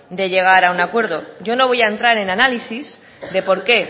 de llegar a un acuerdo yo no voy a entrar en análisis de por qué